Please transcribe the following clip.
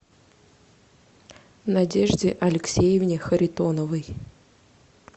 надежде алексеевне харитоновой